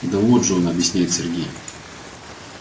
да вот же он объясняет сергей